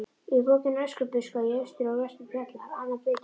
Í bókinni Öskubuska í austri og vestri fjallar Anna Birgitta